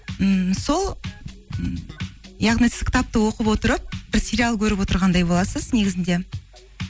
ммм сол м яғни сіз кітапты оқып отырып бір сериал көріп отырғандай боласыз негізінде